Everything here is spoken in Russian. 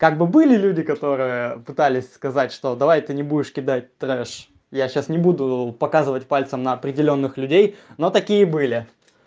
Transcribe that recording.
как бы были люди которые пытались сказать что давай ты не будешь кидать трэш я сейчас не буду показывать пальцем на определённых людей но такие были